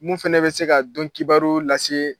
Mun fana bɛ se ka donkibaru lase.